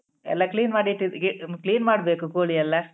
ಎಲ್ಲ clean ಮಾಡಿ ಇಟ್ಟಗೆ clean ಮಾಡ್ಬೇಕು ಕೋಳಿ ಎಲ್ಲ.